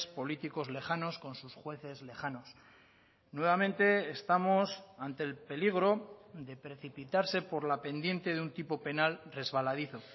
políticos lejanos con sus jueces lejanos nuevamente estamos ante el peligro de precipitarse por la pendiente de un tipo penal resbaladizo